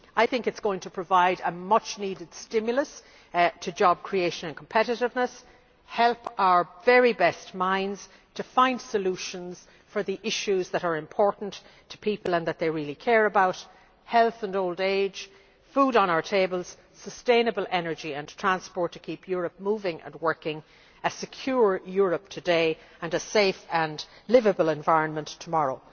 I think it is going to provide a much needed stimulus to job creation and competitiveness, and help our very best minds to find solutions for the issues that are important to people and that they really care about health and old age, the food on our tables, sustainable energy and transport to keep Europe moving and working, a secure Europe today and a safe and liveable environment tomorrow.